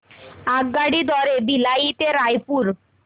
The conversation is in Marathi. आगगाडी द्वारे भिलाई ते रायपुर